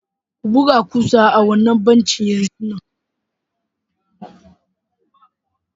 Ku buga kusa ah wanna bencin yanzun nan